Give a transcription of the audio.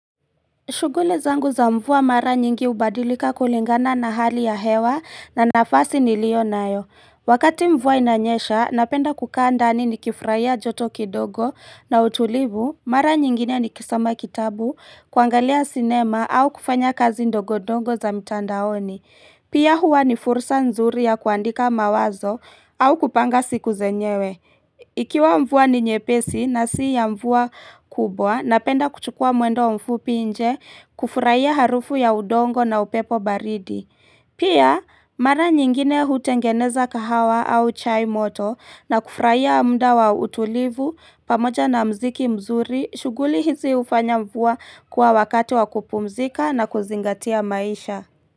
Shughuli zangu za mvua mara nyingi hubadilika kulingana na hali ya hewa na nafasi ni lio nayo. Wakati mvua inanyesha, napenda kukaa ndani nikifurahia joto kidogo na utulivu, mara nyingine ni kisoma kitabu, kuangalia sinema au kufanya kazi ndogo ndongo za mtandaoni. Pia huwa ni fursa nzuri ya kuandika mawazo au kupanga siku zenyewe. Ikiwa mvua ni nyepesi na si ya mvua kubwa na penda kuchukua mwendo mfupi nje kufurahia harufu ya udongo na upepo baridi Pia mara nyingine hutengeneza kahawa au chai moto na kufurahia mda wa utulivu pamoja na mziki mzuri shughuli hizi hufanya mvua kuwa wakati wa kupumzika na kuzingatia maisha.